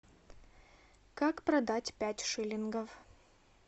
как продать пять шиллингов